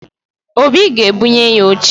Obi ga-ebunye ya oche